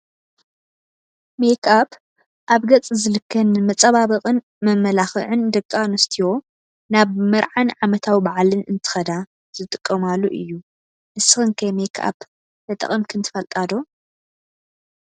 ሜክኣብ ኣብ ገፅ ዝልከ ንመፀባበቅን መመላክዕን ደቂ ኣንስትዮ ናብ መርዓን ዓመታዊ ባዓልን እንትከዳ ዝጥቀማሉ እዩ። ንስክን ከ ሜክኣብ ተጠቅምክን ትፈልጣ ዶ ?